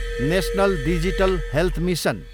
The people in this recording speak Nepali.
national digital health mission